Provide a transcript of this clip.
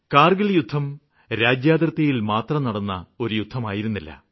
കാര്ഗില് യുദ്ധം രാജ്യാതിര്ത്തിയില്മാത്രം നടന്ന ഒരു യുദ്ധമായിരുന്നില്ല